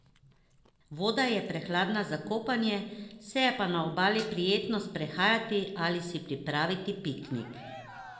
Voda je prehladna za kopanje, se je pa na obali prijetno sprehajati ali si pripraviti piknik.